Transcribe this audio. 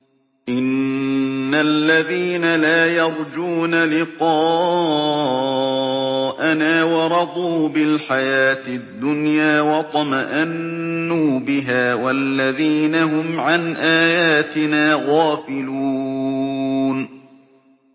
إِنَّ الَّذِينَ لَا يَرْجُونَ لِقَاءَنَا وَرَضُوا بِالْحَيَاةِ الدُّنْيَا وَاطْمَأَنُّوا بِهَا وَالَّذِينَ هُمْ عَنْ آيَاتِنَا غَافِلُونَ